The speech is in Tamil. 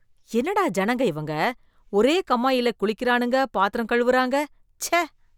என்னடா ஜனங்க இவங்க, ஒரே கம்மாயிலயே குளிக்கறானுங்க, பாத்திரம் கழுவறாங்க, ச்ச.